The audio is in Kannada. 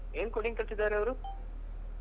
ಏನ್ coding ಕಲ್ತಿದ್ದರೆ ಅವ್ರು?